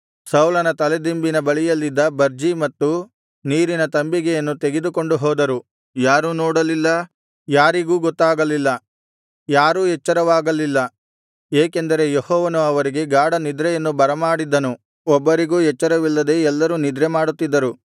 ಸೌಲನ ತಲೆದಿಂಬಿನ ಬಳಿಯಲ್ಲಿದ್ದ ಬರ್ಜಿ ಮತ್ತು ನೀರಿನ ತಂಬಿಗೆಯನ್ನು ತೆಗೆದುಕೊಂಡು ಹೋದರು ಯಾರೂ ನೋಡಲಿಲ್ಲ ಯಾರಿಗೂ ಗೊತ್ತಾಗಲಿಲ್ಲ ಯಾರೂ ಎಚ್ಚರವಾಗಲಿಲ್ಲ ಏಕೆಂದರೆ ಯೆಹೋವನು ಅವರಿಗೆ ಗಾಢನಿದ್ರೆಯನ್ನು ಬರಮಾಡಿದ್ದನು ಒಬ್ಬರಿಗೂ ಎಚ್ಚರವಿಲ್ಲದೆ ಎಲ್ಲರೂ ನಿದ್ರೆಮಾಡುತ್ತಿದ್ದರು